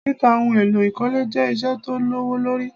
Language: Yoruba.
Títa ohun èlò ìkọ́lé jẹ́ ìṣe tó lówó lori